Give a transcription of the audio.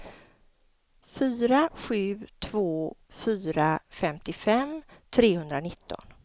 fyra sju två fyra femtiofem trehundranitton